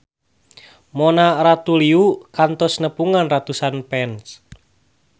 Mona Ratuliu kantos nepungan ratusan fans